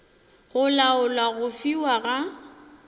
go laola go fiwa ga